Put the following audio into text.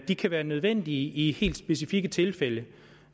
de kan være nødvendige i helt specifikke tilfælde